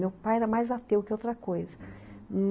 Meu pai era mais ateu que outra coisa, uhum.